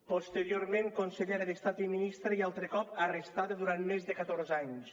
posteriorment consellera d’estat i ministra i altre cop arrestada durant més de catorze anys